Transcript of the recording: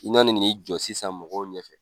I n'i jɔ sisan mɔgɔw ɲɛfɛ